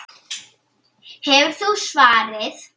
Hefur þú svarið?